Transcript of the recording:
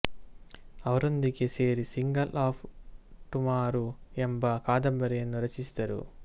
ಅವರೊಂದಿಗೆ ಸೇರಿ seeker of tomorrow ಎಂಬ ಕಾದಂಬರಿಯನ್ನು ರಚಿಸಿದರು